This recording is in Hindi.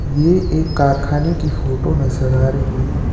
ये एक कारखाने की फोटो नजर आ रही है।